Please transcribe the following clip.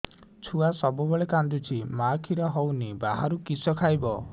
ଛୁଆ ସବୁବେଳେ କାନ୍ଦୁଚି ମା ଖିର ହଉନି ବାହାରୁ କିଷ ଖାଇବ